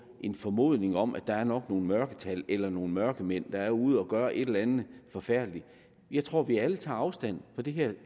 en formodning om at der nok er nogle mørketal eller nogle mørkemænd der er ude at gøre et eller andet forfærdeligt jeg tror at vi alle tager afstand fra det her